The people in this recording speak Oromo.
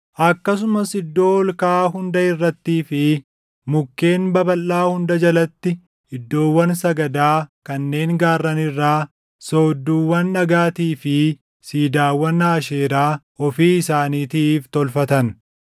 Akkasumas iddoo ol kaʼaa hunda irrattii fi mukkeen babalʼaa hunda jalatti iddoowwan sagadaa kanneen gaarran irraa, soodduuwwan dhagaatii fi siidaawwan Aasheeraa ofii isaaniitiif tolfatan.